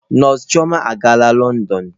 Nọọsụ chioma agaala Lọndọn.